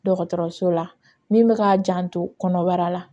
Dɔgɔtɔrɔso la min bɛ k'a janto kɔnɔbara la